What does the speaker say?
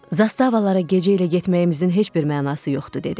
Zastavalara gecə ilə getməyimizin heç bir mənası yoxdur dedi.